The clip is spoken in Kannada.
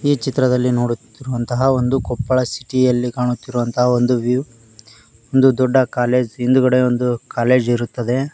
ಈ ಚಿತ್ರದಲ್ಲಿ ನೋಡುತ್ತಿರುವಂತಹ ಒಂದು ಕೊಪ್ಪಳ ಸಿಟಿಯಲ್ಲಿ ಕಾಣುತ್ತಿರುವಂತ ಒಂದು ವ್ಯೂ ಒಂದು ದೊಡ್ಡ ಕಾಲೇಜು ಹಹಿಂದ್ಗಡೆ ಒಂದು ಕಾಲೇಜ್ ಇರುತ್ತದೆ.